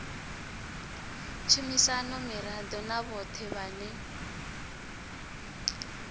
tshumisano miraḓo na vhoṱhe vhane